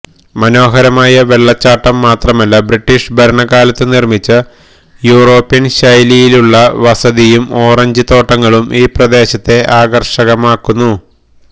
മനോഹരമായ വെള്ളച്ചാട്ടം മാത്രമല്ല ബ്രിട്ടീഷ് ഭരണകാലത്തുനിര്മിച്ച യൂറോപ്യന് ശൈലിയിലുള്ള വസതിയും ഓറഞ്ച് തോട്ടങ്ങളും ഈ പ്രദേശത്തെ ആകര്ഷകമാക്കുന്നു